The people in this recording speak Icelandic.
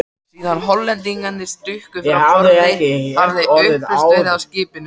Síðan Hollendingarnir stukku frá borði, hafði upplausn verið á skipinu.